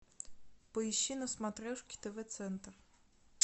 поищи на смотрешке тв центр